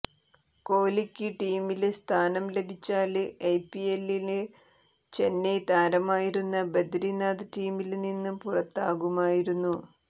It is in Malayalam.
കോലിക്ക് ടീമില് സ്ഥാനം ലഭിച്ചാല് ഐപിഎല്ലില് ചെന്നൈ താരമായിരുന്ന ബദരിനാഥ് ടീമില് നിന്ന് പുറത്താകുമായിരുന്നു